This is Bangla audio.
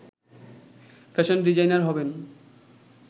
ফ্যাশান ডিজাইনার হবেন